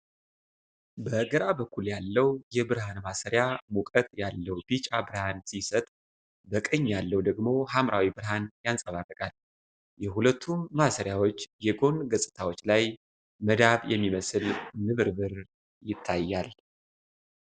በግራ በኩል ያለው የብርሃን ማሰሪያ ሙቀት ያለው ቢጫ ብርሃን ሲሰጥ፣ በቀኝ ያለው ደግሞ ሐምራዊ ብርሃን ያንጸባርቃል። የሁለቱም ማሰሪያዎች የጎን ገጽታዎች ላይ መዳብ የሚመስል ንብርብር ይታያል።